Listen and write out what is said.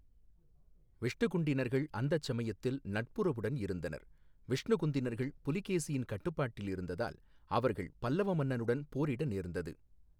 விஷ்ணுகுண்டினர்கள் அந்தச் சமயத்தில் நட்புறவுடன் இருந்தனர், விஷ்ணுகுந்தினர்கள் புலிகேசியின் கட்டுப்பாட்டில் இருந்ததால் அவர்கள் பல்லவ மன்னனுடன் போரிட நேரிட்டது.